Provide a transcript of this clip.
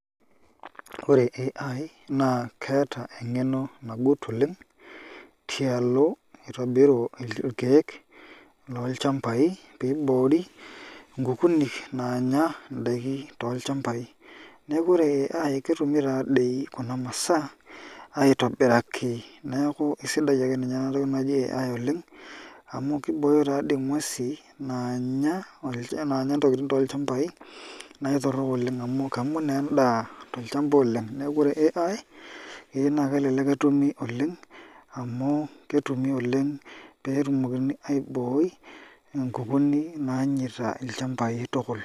Ore Artificial Intelligence naa keeta eng'eno nagut oleng' tialo itobiru irkeek lolchambai pee iboori nkukuni naanya indaiki tolchambai neeku ore Artificial Intelligence ketumi taadoi nena masaa aitobiraki neeku esidai ake ninye ena toki naji Artificial Intelligence oleng' amu kibooyo taadoi nguesi naanya ntokitin tolchambai naa aitorrok oleng' amu kemut naa endaa tolchamba oleng' neeku ore Artificial Intelligence keyieu naa kelelek etumi oleng' amu ketumi oleng' pee etumokini aibooi nkukuni nainosita ilchambaai.